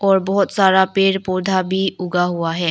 और बहुत सारा पेड़ पौधा भी उगा हुआ है।